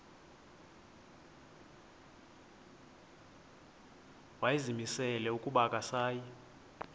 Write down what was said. wayezimisele ukuba akasayi